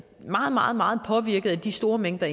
meget meget påvirket af de store mængder